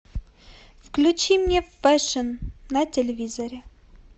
включи мне фэшн на телевизоре